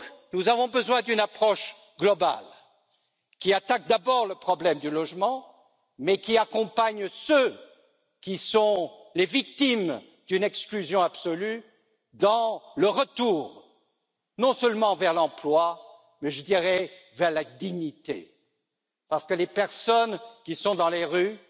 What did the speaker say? Nous avons donc besoin d'une approche globale qui attaque d'abord le problème du logement mais qui accompagne ceux qui sont les victimes d'une exclusion absolue, dans le retour non seulement vers l'emploi, mais je dirais vers la dignité parce que les personnes qui sont dans les rues